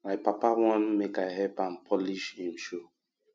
my papa wan make i help am polish im shoe